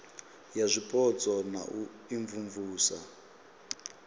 ya zwipotso na u imvumvusa